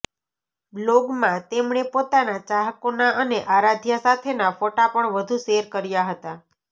બ્લોગમાં તેમણે પોતાના ચાહકોના અને આરાધ્યા સાથેના ફોટો પણ વધુ શેર કર્યા હતાં